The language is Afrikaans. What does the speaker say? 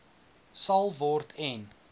sal word en